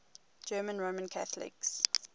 german roman catholics